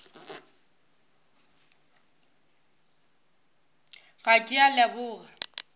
ga a ke a leboga